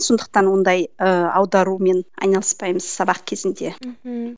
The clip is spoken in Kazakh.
сондықтан ондай ыыы аударумен айналыспаймыз сабақ кезінде мхм